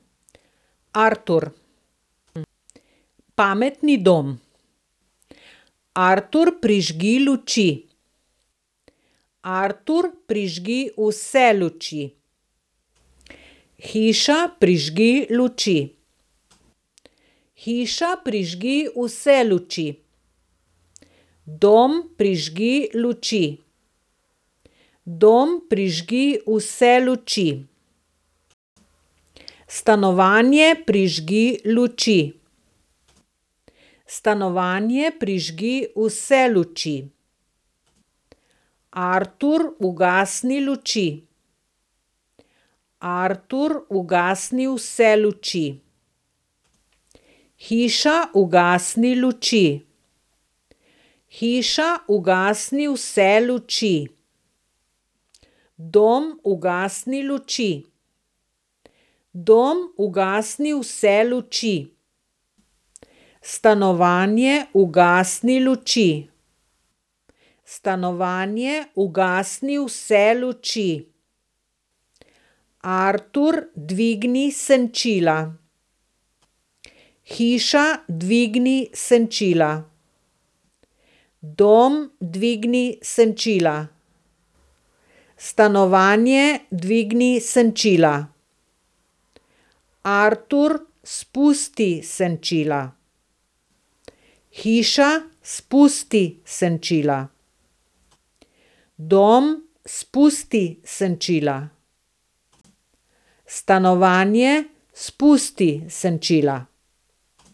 Artur. Pametni dom. Artur, prižgi luči. Artur, prižgi vse luči. Hiša, prižgi luči. Hiša, prižgi vse luči. Dom, prižgi luči. Dom, prižgi vse luči. Stanovanje, prižgi luči. Stanovanje, prižgi vse luči. Artur, ugasni luči. Artur, ugasni vse luči. Hiša, ugasni luči. Hiša, ugasni vse luči. Dom, ugasni luči. Dom, ugasni vse luči. Stanovanje, ugasni luči. Stanovanje, ugasni vse luči. Artur, dvigni senčila. Hiša, dvigni senčila. Dom, dvigni senčila. Stanovanje, dvigni senčila. Artur, spusti senčila. Hiša, spusti senčila. Dom, spusti senčila. Stanovanje, spusti senčila.